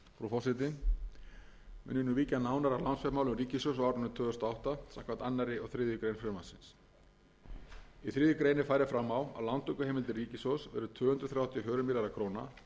ég nú víkja nánar að lánsfjármálum ríkissjóðs á árinu tvö þúsund og átta samkvæmt öðrum og þriðju greinar frumvarpsins í þriðju grein er farið fram á að lántökuheimildir ríkissjóðs verði tvö hundruð þrjátíu og fjórir milljarðar króna og